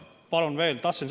Palun veel!